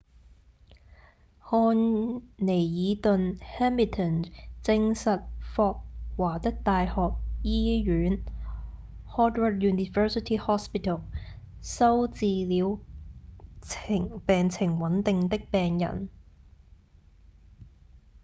漢彌爾頓 hamilton 證實霍華德大學醫院 howard university hospital 收治了病情穩定的病人